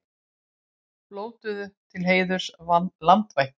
Blótuðu til heiðurs landvættunum